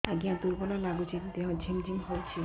ଆଜ୍ଞା ଦୁର୍ବଳ ଲାଗୁଚି ଦେହ ଝିମଝିମ ହଉଛି